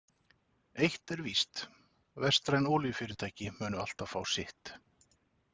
Eitt er víst: Vestræn olíufyrirtæki munu alltaf fá sitt.